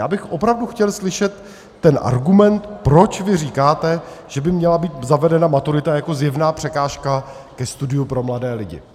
Já bych opravdu chtěl slyšet ten argument, proč vy říkáte, že by měla být zavedena maturita jako zjevná překážka ke studiu pro mladé lidi.